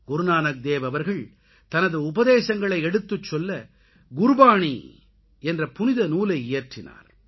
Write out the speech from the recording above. குருநானக் தேவ் அவர்கள் தனது உபதேசங்களை எடுத்துச் சொல்ல குருகிரந்த் என்ற புனித நூலை இயற்றினார்